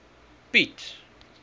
piet